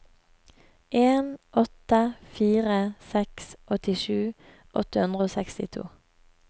en åtte fire seks åttisju åtte hundre og sekstito